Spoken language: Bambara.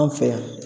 An fɛ yan